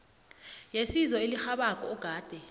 yesizo elirhabako ogade